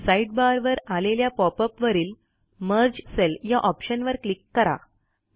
sidebar वर आलेल्या pop अपवरील मर्ज सेल या ऑप्शनवर क्लिक करा